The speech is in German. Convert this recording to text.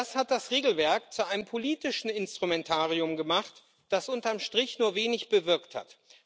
Das hat das Regelwerk zu einem politischen Instrumentarium gemacht, das unterm Strich nur wenig bewirkt hat.